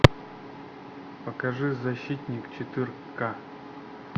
покажи защитник четырка